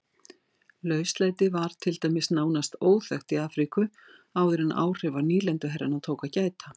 Lauslæti var til dæmis nánast óþekkt í Afríku áður en áhrifa nýlenduherrana tók að gæta.